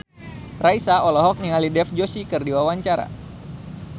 Raisa olohok ningali Dev Joshi keur diwawancara